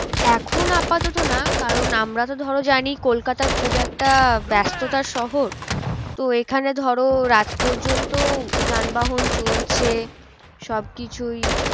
এখন আপাতত না কারণ আমরা তো ধরো জানি কলকাতা খুব একটা ব্যস্ততার শহর তো এখানে ধরো রাত পর্যন্ত যান বাহন চলছে। সব কিছুই